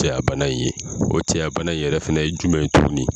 cɛyabana in ye o cɛyabana in yɛrɛ fana ye jumɛn ye tuguni.